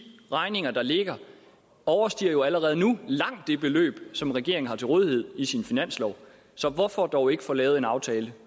regninger der ligger overstiger jo allerede nu langt det beløb som regeringen har til rådighed i sin finanslov hvorfor dog ikke få lavet en aftale